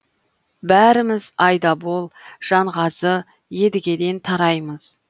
бәріміз айдабол жанғазы едігеден тараймыз